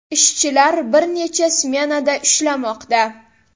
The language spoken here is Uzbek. Ishchilar bir necha smenada ishlamoqda.